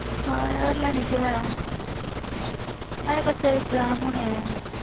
ਹਾਂ ਯਾਰ ਲੈਣੀ ਤੇ ਹੈ ਹਜੇ ਬੱਚਿਆਂ ਦੇ exam ਹੋਣੇ ਹੈ।